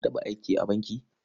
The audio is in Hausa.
Ka taɓa aiki a banki?